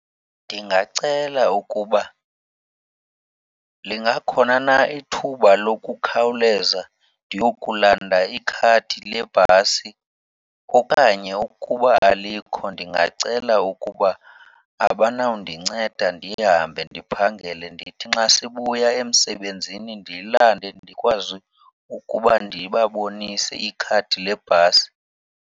Ndingacela ukuba lingakhona na ithuba lokukhawuleza ndiyokulanda ikhadi lebhasi. Okanye ukuba alikho ndingacela ukuba abanawundinceda ndihambe ndiphangele, ndithi nxa sibuya emsebenzini ndililande ndikwazi ukuba ndibabonise ikhadi lebhasi.